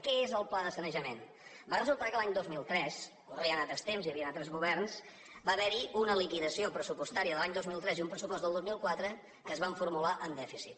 què és el pla de sanejament va resultar que l’any dos mil tres corrien altres temps i hi havien altres governs va haverhi una liquidació pressupostària de l’any dos mil tres i un pressupost del dos mil quatre que es van formular amb dèficit